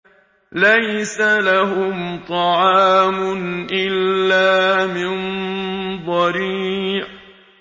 لَّيْسَ لَهُمْ طَعَامٌ إِلَّا مِن ضَرِيعٍ